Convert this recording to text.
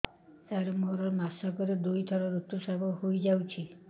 ସାର ମୋର ମାସକରେ ଦୁଇଥର ଋତୁସ୍ରାବ ହୋଇଯାଉଛି